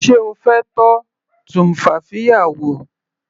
Sé O fẹ́ tọ́ tumfafiya wò.